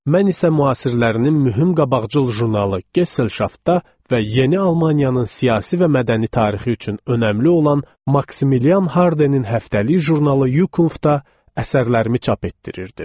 Mən isə müasirlərinin mühüm qabaqcıl jurnalı Gesselşaftda və yeni Almaniyanın siyasi və mədəni tarixi üçün önəmli olan Maksimilian Hardenin həftəlik jurnalı Yukunftda əsərlərimi çap etdirirdim.